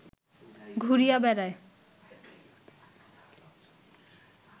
ঘুরিয়া বেড়ায়